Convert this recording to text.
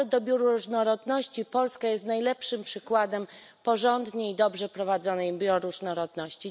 A co do bioróżnorodności, Polska jest najlepszym przykładem porządnie i dobrze prowadzonej bioróżnorodności.